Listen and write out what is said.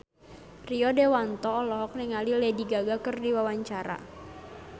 Rio Dewanto olohok ningali Lady Gaga keur diwawancara